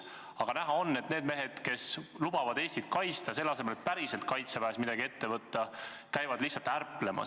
Aga näha on, et need mehed, kes küll lubavad Eestit kaitsta, käivad selle asemel et päriselt kaitseväes midagi ette võtta, lihtsalt ärplemas.